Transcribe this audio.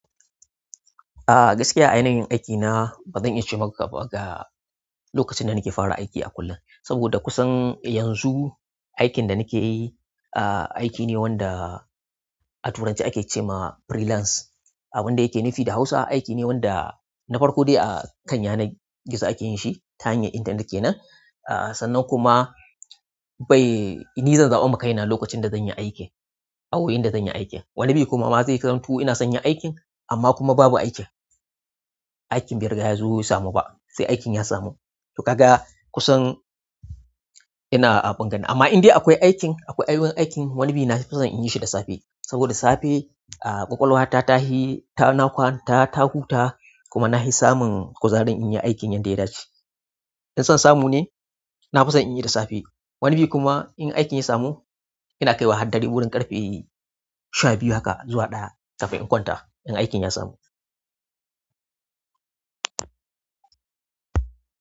Ah gaskiya a yanayin aikina bazan iya ce maka ba ga lokacin da nake fara aiki a kullum. Saboda kusan yanzu aikin da nake yi a aiki ne wanda a Turanci ake ce ma freelance. Abin da yake nufi da Hausa aiki ne wanda na farko dai a kan yanar gizo ake yin shi ta hanyar intanet kenan. Ah sannan kuma bai ni zan za'a makai na lokacin da zan yi aikin a wurin da zan yi aikin. Wani bi kuma ma zai zamto ina son yin aikin amma kuma babu aikin aikin bai riga yazo ya samu ba, sai aikin ya samu to ka ga kusan ina a bungane amma indai akwai aikin akwai ayyukan aikin wani bi na fi son in yi shi da safe. Saboda safe ƙwaƙwalwata tahi ta huta kuma nahi samun kuzari inyi aikin yanda ya dace in son samu ne na fi son in yi da safe. Wani bi kuma in aikin ya samu ina kaiwa har dare wurin ƙarfe sha biyu haka zuwa ɗaya kafin in kwanta in aikin ya samu.